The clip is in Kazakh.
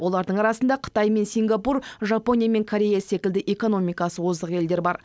олардың арасында қытай мен сингапур жапония мен корея секілді экономикасы озық елдер бар